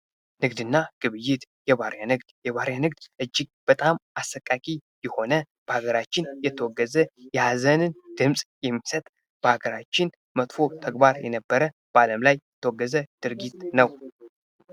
ንግድና ግብይት የባሪያ ንግድ። የባሪያ ንግድ እጅግ በጣም አሰቃቂ የሆነ ፣በሀገራችን የተወገዘ ፣የሀዘንን ድምጽ የሚሰጥ ፣በሀገራችን መጥፎ ተግባር የነበረ ፣በዓለም ላይ የተወገዘ ድርጊት ነው።